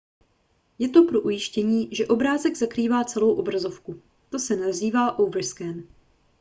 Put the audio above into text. je to pro ujištění že obrázek zakrývá celou obrazovku to se nazývá overscan